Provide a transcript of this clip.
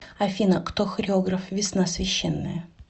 афина кто хореограф весна священная